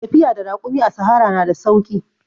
Tafiya da rakumi a sahara na da sauki.